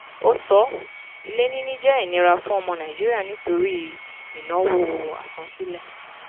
ó sọ: ilé níní jẹ́ ìnira fún ọmọ nàìjíríà nítorí ìnáwó asansílẹ̀.